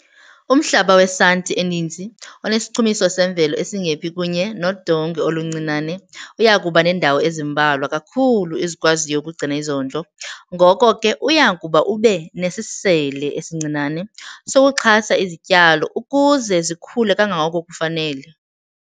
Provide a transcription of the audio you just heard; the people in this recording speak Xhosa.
Umhlaba wesanti eninzi, onesichumiso semvelo esingephi kunye nodongwe oluncinane uya kuba neendawo ezimbalwa kakhulu ezikwaziyo ukugcina izondlo ngoko ke uya kuba ube nesisele esincinane sokuxhasa izityalo ukuze zikhule kangangoko kufanele.